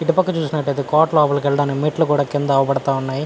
ఇటు పక్క చూసినట్టైతే కోట లోపలకి ఎల్లడానికి మెట్లు కూడా కింద అవుపడతా ఉన్నాయి.